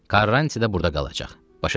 Karrantı da burda qalacaq, başa düşürsən?